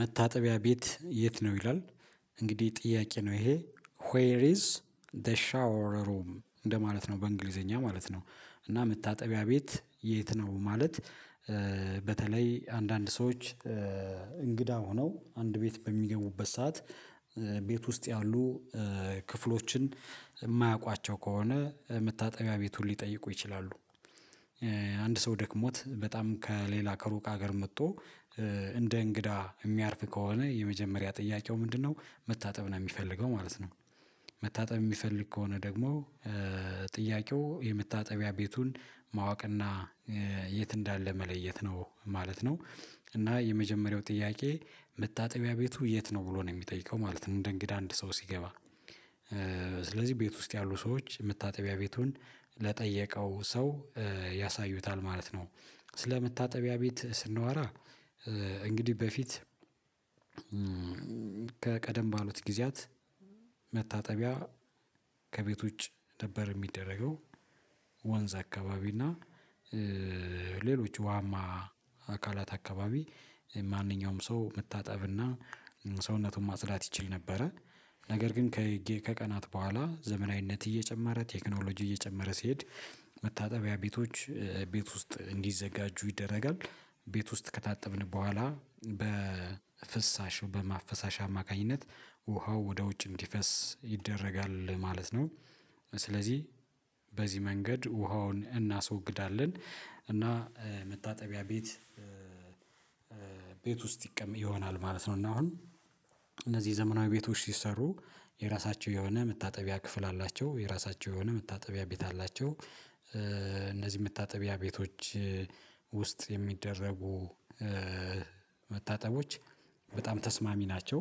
መታጠቢያ ቤት የት ነው ይላ? እንግዲህ ጥያቄ ነው ይሄ ዌር ኢዝ ዘ ሻወር ሩም? እንደማለት ነው በእንግሊዘኛ ማለት ነው እና መታጠቢያ ቤት የት ነው ማለት በተለይ አንዳንድ ሰዎች እንግዳ ሆነው አንድ ቤት በሚገቡበት ሰዓት ቤት ውስጥ ያሉ ክፍሎችን የማያውቋቸው ከሆነ መታጠቢያ ቤቱን ሊጠይቁ ይችላሉ አንድ ሰው ደክሞት በጣም ከሌላ ከሩቅ ሀገር መጥቶ እንደ እንግዳ የሚያርፍ ከሆነ የመጀመሪያ ጥያቄው ምንድነው መታጠብ ነው የሚፈልገው ማለት ነው መታጠብ የሚፈልግ ከሆነ ደግሞ ጥያቄው የመታጠቢያ ቤቱን ማወቅና የት እንዳለ መለየት ነው ማለት ነው። እና የመጀመሪያው ጥያቄ መታጠቢያ ቤቱ የት ነው ብሎ ነው የሚጠይቀው ማለት ነው እንደ እንግዳ አንድ ሰው ሲገባ ስለዚህ ቤት ውስጥ ያሉ ሰዎች መታጠቢያ ቤት ወንድ ለጠየቀው ሰው ያሳዩታል። ማለት ነው ስለመታጠቢያ ቤት ስናወራ እንግዲህ በፊት ከቀደም ባሉት ጊዜያት መታጠቢያ ከቤት ውጭ ነበር የሚደረገው። ወንዝ አካባቢ እና ሌሎች ውሃማ አካላት አካባቢ ማንኛውም ሰው መታጠብና ሰውነቱን ማጽዳት ይችል ነበረ ነገር ግን ከቀናት በኋላ ዘመናዊነት እየጨመረ ቴክኖሎጂ እየጨመረ ሲሄድ መታጠቢያ ቤቶች ቤት ውስጥ እንዲዘጋጁ። ይደረጋል ቤት ውስጥ ከታጠብን በኋላ በፍሳሽው በማፈሳሻ አማካኝነት ውሃው ወደ ውጭ እንዲፈስ ይደረጋል ማለት ነው። ስለዚህ በዚህ መንገድ ውሃውን እናስወግዳለን እና መታጠቢያ ቤት ቤት ውስጥ ይሆናል ማለት ነው እና አሁን እነዚህ ዘመናዊ ቤቶች ሲሰሩ የራሳቸው የሆነ መታጠቢያ ክፍል አላቸው። የራሳቸው የሆነ መታጠቢያ ቤት አላቸው እነዚህ መታጠቢያ ቤቶች ውስጥ የሚደረጉ መታጠቦች በጣም ተስማሚ ናቸው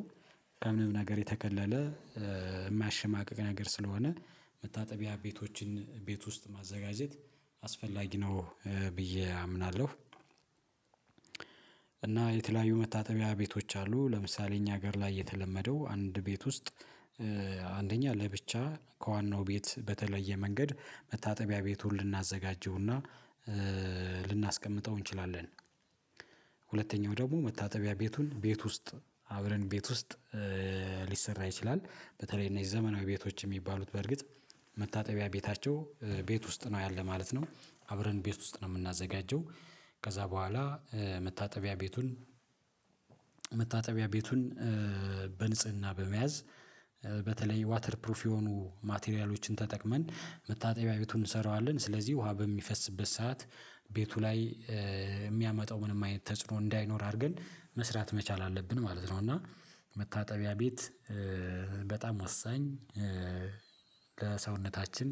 ከምንም ነገር የተከለለ የማያሸማቅቅ ነገር ስለሆነ መታጠቢያ ቤቶችን ቤት ውስጥ ማዘጋጀት አስፈላጊ ነው ብዬ አምናለሁ። እና የተለያዩ መታጠቢያ ቤቶች አሉ ለምሳሌ እኛ ሀገር ላይ የተለመደው አንድ ቤት ውስጥ አንደኛ ለብቻ ከዋናው ቤት በተለየ መንገድ መታጠቢያ ቤቱን ልናዘጋጀውና ልናስቀምጠው እንችላለን። ሁለተኛው ደግሞ መታጠቢያ ቤቱን ቤት ውስጥ አብረን ቤት ውስጥ ሊሰራ ይችላል በተለይ እነዚህ ዘመናዊ ቤቶች የሚባሉት በርግጥ መታጠቢያ ቤታቸው ቤት ውስጥ ነው ያለ ማለት ነው አብረን ቤት ውስጥ ነው የምናዘጋጀው ከዛ በኋላ መታጠቢያ ቤቱን መታጠቢያ ቤቱን በንጽህና በመያዝ በተለይ ዋተርፕሩፍ የሆኑ ማቴሪያሎችን ተጠቅመን መታጠቢያ ቤቱን እንሰራዋለን ስለዚህ ውሃ በሚፈስበት ሰዓት ቤቱ ላይ የሚያመጣው ምንም አይነት ተጽዕኖ እንዳይኖር አድርገን መስራት መቻል አለብን ማለት ነው። እና መታጠቢያ ቤት በጣም ወሳኝ ለሰውነታችን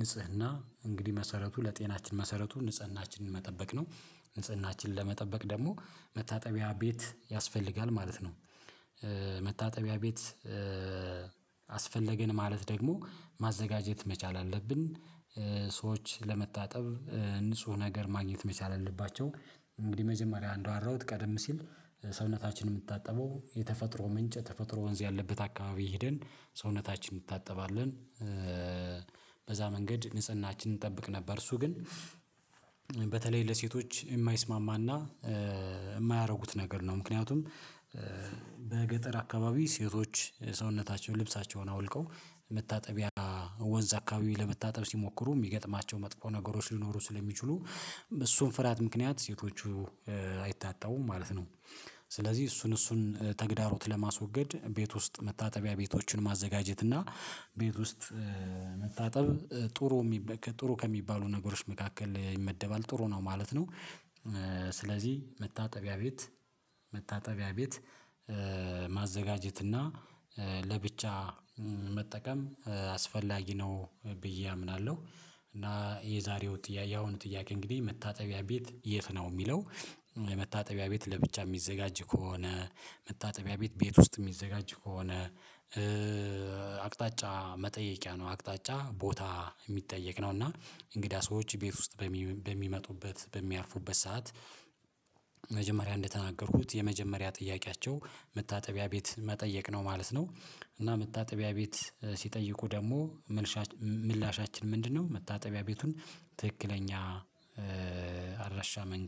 ንጽህና እንግዲህ መሰረቱ ለጤናችን መሰረቱ ንጽህናችንን መጠበቅ ነው። ንጽህናችንን ለመጠበቅ ደግሞ መታጠቢያ ቤት ያስፈልጋል ማለት ነው መታጠቢያ ቤት አስፈለገን ማለት ደግሞ ማዘጋጀት መቻል አለብን ሰዎች ለመታጠብ ንጹህ ነገር ማግኘት መቻል አለባቸው እንግዲህ መጀመሪያ አንዳወራሁት ቀደም ሲል ሰውነታችንን የምታጠበው የተፈጥሮ ምንጭ ተፈጥሮ ወንዝ ያለበት አካባቢ ሄደን ሰውነታችን እንድታጠባለን። በዛ መንገድ ንጽህናችንን እንጠብቅ ነበር እሱ ግን በተለይ ለሴቶች የማይስማማና የማያደርጉት ነገር ነው። ምክንያቱም በገጠር አካባቢ ሴቶች ሰውነታቸው ልብሳቸውን አውልቀው መታጠቢያ ወንዝ አካባቢ ለመታጠብ ሲሞክሩ የሚገጥማቸው መጥፎ ነገሮች ሊኖሩ ስለሚችሉ እሱን ፍራት ምክንያት ሴቶቹ አይታጠቡም ማለት ነው። ስለዚህ እሱን እሱን ተግዳሮት ለማስወገድ ቤት ውስጥ መታጠቢያ ቤቶችን ማዘጋጀት እና ቤት ውስጥ መታጠብ ጥሩ ከሚባሉ ነገሮች መካከል ይመደባል ጥሩ ነው ማለት ነው ስለዚህ መታጠቢያ ቤት መታጠቢያ ቤት ማዘጋጀት እና ለብቻ መጠቀም አስፈላጊ ነው ብዬ አምናለሁ። እና የዛሬው ጥያቄ ያሁኑ ጥያቄ እንግዲህ መታጠቢያ ቤት የት ነው? የሚለው የመታጠቢያ ቤት ለብቻ የሚዘጋጅ ከሆነ መታጠቢያ ቤት ቤት ውስጥ የሚዘጋጅ ከሆነ አቅጣጫ መጠየቂያ ነው አቅጣጫ ቦታ የሚጠየቅ ነው። እና እንግዳ ሰዎች ቤት ውስጥ በሚመጡበት በሚያርፉበት ሰዓት መጀመሪያ እንደተናገርኩት የመጀመሪያ ጥያቄያቸው መታጠቢያ ቤት መጠየቅ ነው ማለት ነው። እና መታጠቢያ ቤት ሲጠይቁ ደግሞ ምላሻችን ምንድነው መታጠቢያ ቤቱን ትክክለኛ አድራሻ መንገድ